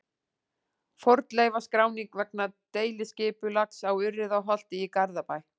Fornleifaskráning vegna deiliskipulags á Urriðaholti í Garðabæ.